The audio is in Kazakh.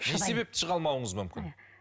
не себепті шыға алмауыңыз мүмкін